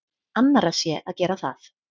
Annarra sé að gera það.